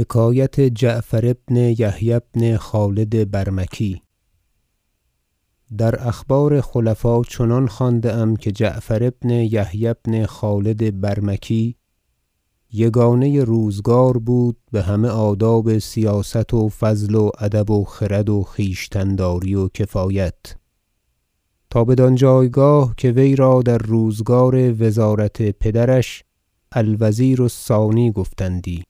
حکایت جعفر بن یحیی بن خالد برمکی در اخبار خلفا چنان خوانده ام که جعفر بن یحیی بن خالد برمکی یگانه روزگار بود بهمه آداب سیاست و فضل و ادب و خرد و خویشتن داری و کفایت تا بدان جایگاه که ویرا در روزگار وزارت پدرش الوزیر الثانی گفتندی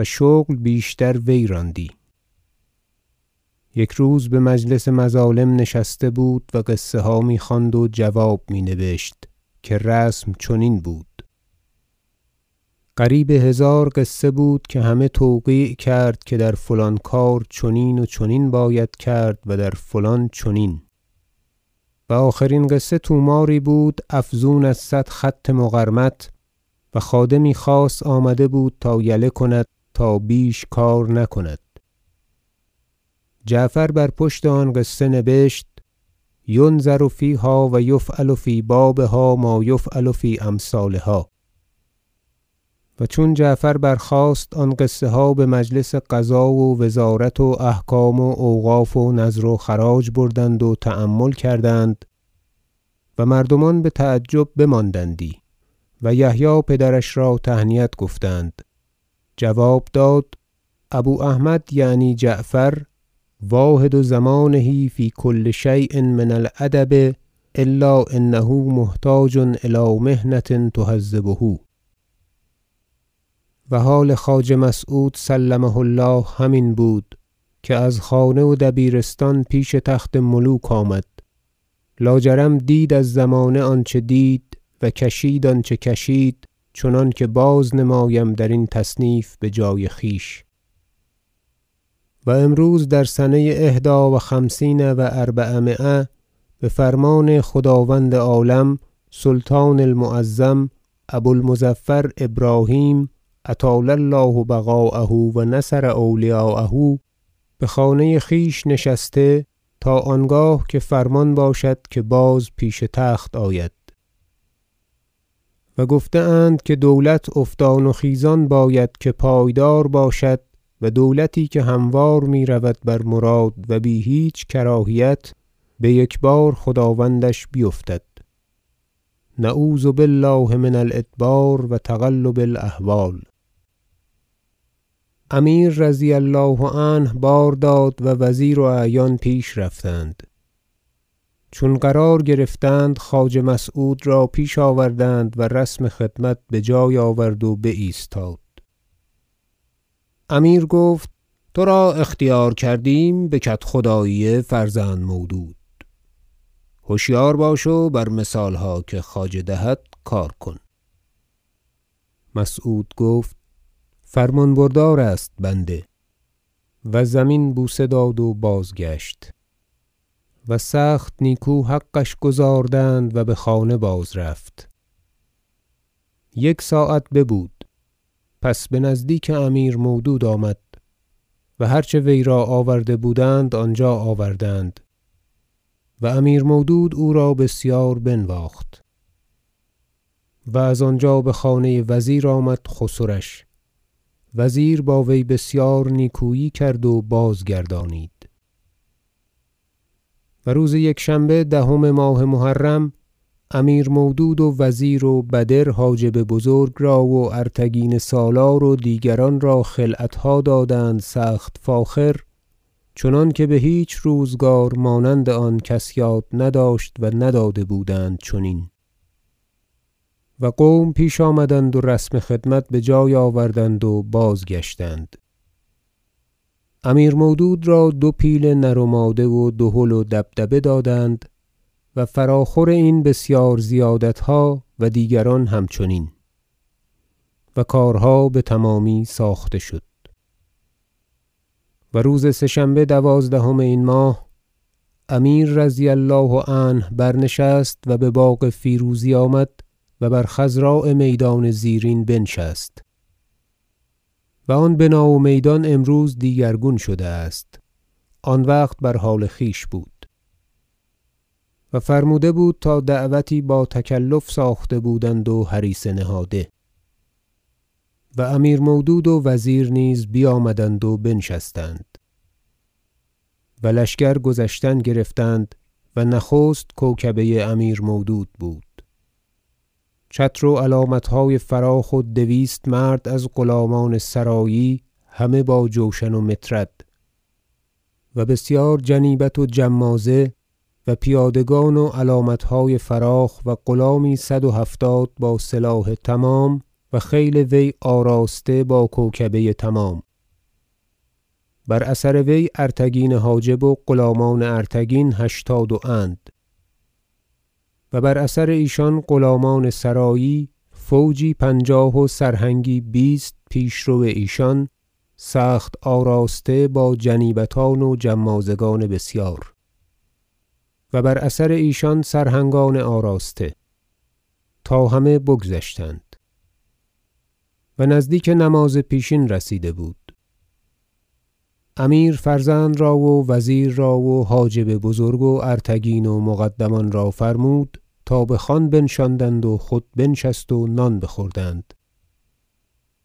و شغل بیشتر وی راندی یک روز بمجلس مظالم نشسته بود و قصه ها میخواند و جواب می نبشت که رسم چنین بود قریب هزار قصه بود که همه توقیع کرد که در فلان کار چنین و چنین باید کرد و در فلان چنین و آخرین قصه طوماری بود افزون از صد خط مقرمط و خادمی خاص آمده بود تا یله کند تا بیش کار نکند جعفر بر پشت آن قصه نبشت ینظر فیها و یفعل فی بابها ما یفعل فی امثالها و چون جعفر برخاست آن قصه ها بمجلس قضا و وزارت و احکام و اوقاف و نذر و خراج بردند و تأمل کردند و مردمان بتعجب بماندندی و یحیی پدرش را تهنیت گفتند جواب داد ابو احمد- یعنی جعفر- واحد زمانه فی کل شی ء من الأدب الا انه محتاج الی محنة تهذبه و حال خواجه مسعود سلمه الله همین بود که از خانه و دبیرستان پیش تخت ملوک آمد لا جرم دید از زمانه آنچه دید و کشید آنچه کشید چنانکه باز نمایم درین تصنیف بجای خویش و امروز در سنه احدی و خمسین و اربعمایه بفرمان خداوند عالم سلطان المعظم ابو المظفر ابراهیم اطال الله بقاءه و نصر اولیاءه بخانه خویش نشسته است تا آنگاه که فرمان باشد که باز پیش تخت آید و گفته- اند که دولت افتان و خیزان باید که پایدار باشد و دولتی که هموار میرود بر مراد و بی هیچ کراهیت بیکبار خداوندش بیفتد نعوذ بالله من الأدبار و تقلب الأحوال امیر رضی الله عنه بار داد و وزیر و اعیان پیش رفتند چون قرار گرفتند خواجه مسعود را پیش آوردند و رسم خدمت بجای آورد و بایستاد امیر گفت ترا اختیار کردیم بکدخدایی فرزند مودود هشیار باش و بر مثالها که خواجه دهد کار کن مسعود گفت فرمان بردار است بنده و زمین بوسه داد و بازگشت و سخت نیکو حقش گزاردند و بخانه باز رفت یک ساعت ببود پس بنزدیک امیر مودود آمد و هر چه ویرا آورده بودند آنجا آوردند و امیر مودود او را بسیار بنواخت و از آنجا بخانه وزیر آمد خسرش وزیر با وی بسیار نیکویی کرد و بازگردانید و روز یکشنبه دهم ماه محرم امیر مودود و وزیر و بدر حاجب بزرگ را و ارتگین سالار و دیگران را خلعتها دادند سخت فاخر چنانکه بهیچ روزگار مانند آن کس یاد نداشت و نداده بودند چنین و قوم پیش آمدند و رسم خدمت بجای آوردند و بازگشتند امیر مودود را دو پیل نر و ماده و دهل و دبدبه دادند و فراخور این بسیار زیادتها و دیگران را همچنین و کارها بتمامی ساخته شد و روز سه شنبه دوازدهم این ماه امیر رضی الله عنه برنشست و بباغ فیروزی آمد و بر خضراء میدان زیرین بنشست- و آن بنا و میدان امروز دیگرگون شده است آن وقت بر حال خویش بود- و فرموده بود تا دعوتی با تکلف ساخته بودند و هریسه نهاده و امیر مودود و وزیر نیز بیامدند و بنشستند و لشکر گذشتن گرفتند و نخست کوکبه امیر مودود بود چتر و علامتهای فراخ و دویست مرد از غلامان سرایی همه با جوشن و مطرد و بسیار جنیبت و جمازه و پیادگان و علامتهای فراخ و غلامی صد و هفتاد با سلاح تمام و خیل وی آراسته با کوکبه تمام بر اثر وی ارتگین حاجب و غلامان ارتگین هشتاد و اند و بر اثر ایشان غلامان سرایی فوجی پنجاه و سرهنگی بیست پیشرو ایشان سخت آراسته با جنیبتان و جمازگان بسیار و بر اثر ایشان سرهنگان آراسته تا همه بگذشتند و نزدیک نماز پیشین رسیده بود امیر فرزند را و وزیر را و حاجب بزرگ و ارتگین و مقدمان را فرمود تا بخوان بنشاندند و خود بنشست و نان بخوردند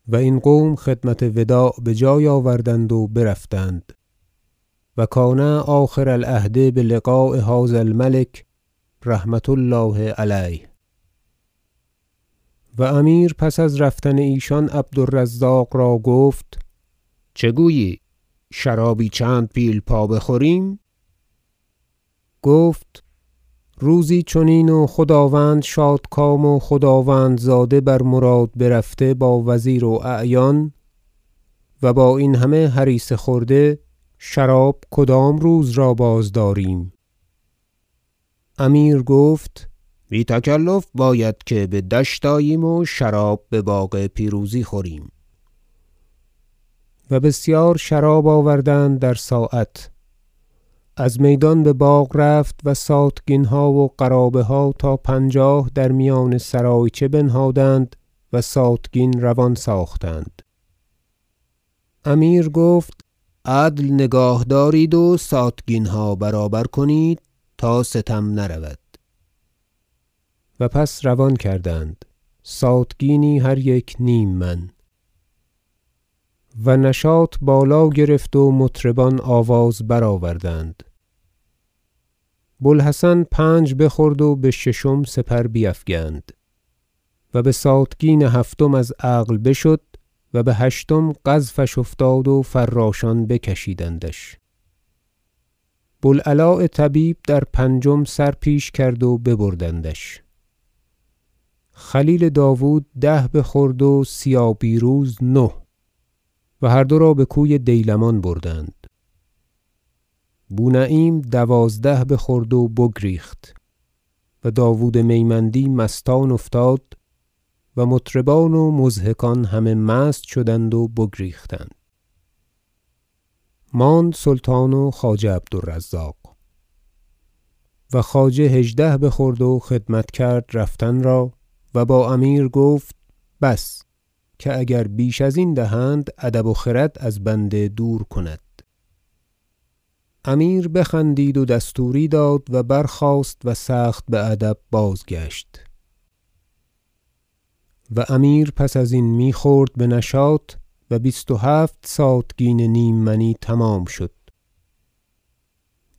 و این قوم خدمت وداع بجای آوردند و برفتند و کان آخر- العهد بلقاء هذا الملک رحمة الله علیه و امیر پس از رفتن ایشان عبد الرزاق را گفت چه گویی شرابی چند پیلپا بخوریم گفت روزی چنین و خداوند شادکام و خداوندزاده بر مراد برفته با وزیر و اعیان و با این همه هریسه خورده شراب کدام روز را باز داریم امیر گفت بی- تکلف باید که بدشت آییم و شراب بباغ پیروزی خوریم و بسیار شراب آوردند در ساعت از میدان بباغ رفت و ساتگینها و قرابه ها تا پنجاه در میان سرایچه بنهادند و ساتگین روان ساختند امیر گفت عدل نگاه دارند و ساتگینها برابر کنید تا ستم نرود و پس روان کردند ساتگینی هر یک نیم من و نشاط بالا گرفت و مطربان آواز برآوردند بو الحسن پنج بخورد و بششم سپر بیفگند و به ساتگین هفتم از عقل بشد و به هشتم قذفش افتاد و فراشان بکشیدندش بو العلاء طبیب در پنجم سر پیش کرد و ببردندش خلیل داود ده بخورد و سیابیروز نه و هر دو را بکوی دیلمان بردند بو نعیم دوازده بخورد و بگریخت و داود میمیندی مستان افتاد و مطربان و مضحکان همه مست شدند و بگریختند ماند سلطان و خواجه عبد الرزاق و خواجه هژده بخورد و خدمت کرد رفتن را و با امیر گفت بس که اگر بیش ازین دهند ادب و خرد از بنده دور کند امیر بخندید و دستوری داد و برخاست و سخت بادب بازگشت و امیر پس ازین میخورد بنشاط و بیست و هفت ساتگین نیم منی تمام شد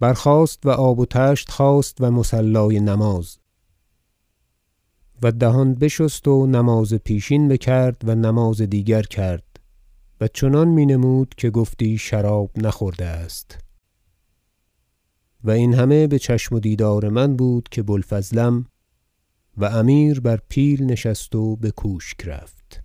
برخاست و آب و طشت خواست و مصلای نماز و دهان بشست و نماز پیشین بکرد و نماز دیگر کرد و چنان مینمود که گفتی شراب نخورده است و این همه بچشم و دیدار من بود که بو الفضلم و امیر بر پیل نشست و بکوشک رفت